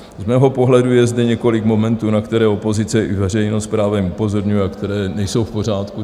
Z mého pohledu je zde několik momentů, na které opozice i veřejnost právem upozorňuje a které nejsou v pořádku.